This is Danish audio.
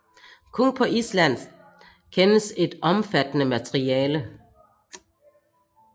Kun på Island kendes et omfattende materiale